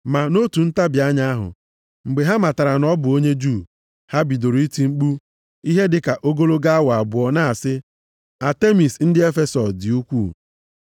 Ma nʼotu ntabi anya ahụ, mgbe ha matara na ọ bụ onye Juu, ha bidoro iti mkpu ihe dịka ogologo awa abụọ na-asị, “Atemis ndị Efesọs dị ukwuu!”